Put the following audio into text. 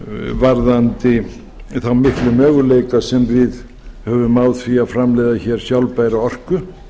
varðandi þá miklu möguleika sem við höfum á því að framleiða hér sjálfbæra orku